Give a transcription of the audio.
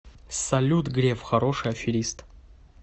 салют греф хороший аферист